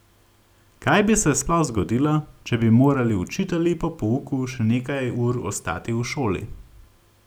Kaj bi se sploh zgodilo, če bi morali učitelji po pouku še nekaj ur ostati v šoli?